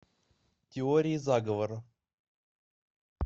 теория заговора